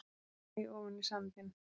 Ég hlæ ofan í sandinn.